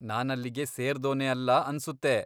ನಾನಲ್ಲಿಗೆ ಸೇರ್ದೋನೇ ಅಲ್ಲ ಅನ್ಸುತ್ತೆ.